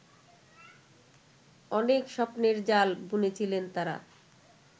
অনেক স্বপ্নের জাল বুনেছিলেন তারা